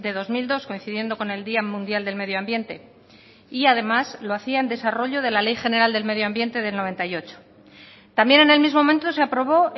dos mil dos coincidiendo con el día mundial del medioambiente y además lo hacía en desarrollo de la ley general del medioambiente del noventa y ocho también en el mismo momento se aprobó